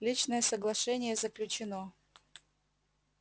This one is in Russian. личное соглашение заключено